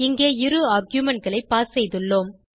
இங்கே இரு arguementகளை பாஸ் செய்துள்ளோம்